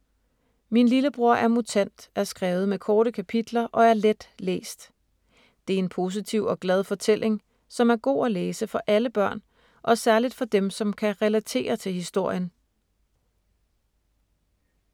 ”Min lillebror er mutant” er skrevet med korte kapitler og er let læst. Det er en positiv og glad fortælling, som er god at læse for alle børn, og særligt for dem, som kan relatere til historien.